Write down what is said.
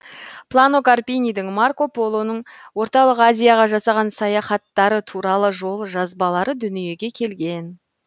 плано карпинидің марко полоның орталық азияға жасаған саяхаттары туралы жол жазбалары дүниеге келген